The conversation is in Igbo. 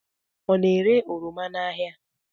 Ọ na-ere oroma ya n'ahia?